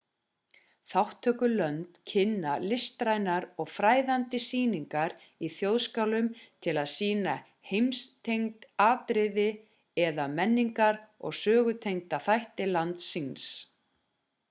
þátttökulönd kynna listrænar og fræðandi sýningar í þjóðskálum til að sýna heimstengd atriði eða menningar og sögutengda þætti lands síns